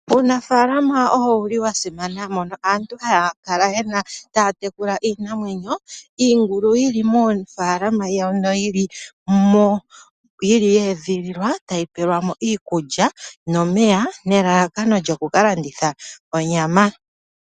Uunafaalama owo wuli wa simana mono aantu haya kala yena, taya tekula iinamwenyo iingulu yili moofaalama dhawo, noyili mo yeedhililwa tayi pewelwa mo iikulya nomeya nelalakano lyoku ka landitha onyama.